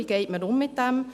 Wie geht man damit um?